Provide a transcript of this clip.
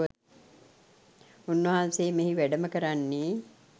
උන්වහන්සේ මෙහි වැඩම කරන්නේ